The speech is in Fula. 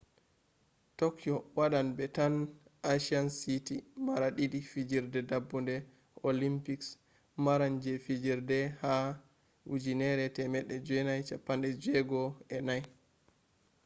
tokyo wadan be tan asian city mara didi fijirde dabbude olympics maran je fijirde ha 1964